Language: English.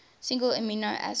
single amino acid